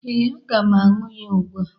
Ee, aga m aṅụ ya ugbụ a.